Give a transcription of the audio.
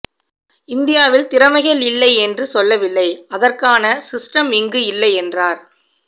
இந்தியாவில் திறமைகள் இல்லை என்று சொல்லவில்லை அதற்கான சிஸ்டம் இங்கு இல்லை என்றார்